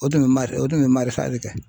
O tun bɛ mari o tun bɛ kɛ